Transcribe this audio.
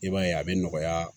I b'a ye a bɛ nɔgɔya